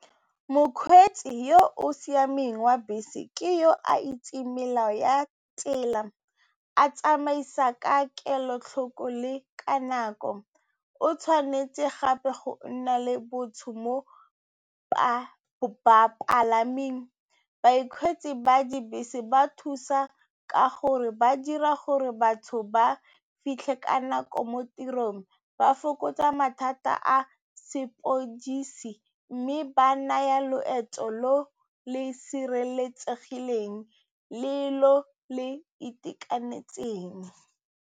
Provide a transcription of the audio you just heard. Mokgweetsi yo o siameng wa bese ke yo a itseng melao ya tsela, a tsamaisa ka kelotlhoko le ka nako, o tshwanetse gape go nna le bontsho mo bapalaming. Bakgweetsi ba dibese ba thusa ka gore ba dira gore batho ba fitlhe ka nako mo tirong, ba fokotsa mathata a sepodisi mme ba naya loeto lo le sireletsegileng le lo le itekanetseng.